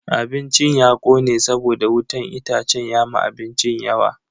Abincin ya kone saboda wutan itacen ya ma abincin yawa.